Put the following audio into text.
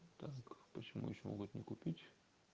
так почему ещё могут не купить